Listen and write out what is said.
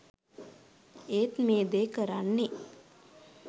ඒත් මේ දේ කරන්නෙ